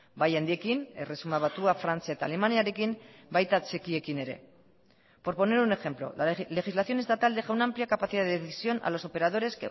bai handiekin erresuma batua frantzia eta alemaniarekin baita txikiekin ere por poner un ejemplo la legislación estatal deja una amplia capacidad de decisión a los operadores